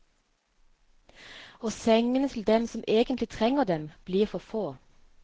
Og sengene til dem som egentlig trenger dem, blir for få.